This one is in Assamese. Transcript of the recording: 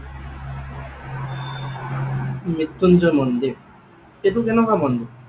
মৃত্যুঞ্জয় মন্দিৰ? এইটো কেনেকুৱা মন্দিৰ?